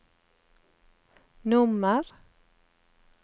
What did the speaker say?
nummer